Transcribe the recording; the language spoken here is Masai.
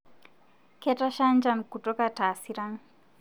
Ketasha njan kutuka taasiran